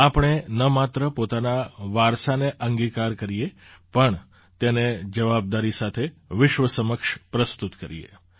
આપણે ન માત્ર પોતાના વારસાને અંગીકાર કરીએ પણ તેને જવાબદારી સાથે વિશ્વ સમક્ષ પ્રસ્તુત કરીએ